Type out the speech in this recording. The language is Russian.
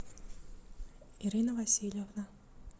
ирина васильевна